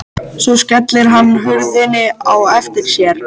Svo skellir hann hurðinni á eftir sér.